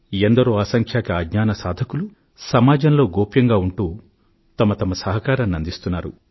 ఎంతో మంది అసంఖ్యాక అజ్ఞాన సాధకులు సమాజంలో గోప్యంగా ఉంటూ వారి సహాయ సహకారాలను అందిస్తున్నారు